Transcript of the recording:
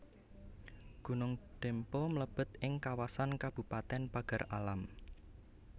Gunung Dempo mlebet ing kawasan Kabupaten Pagar Alam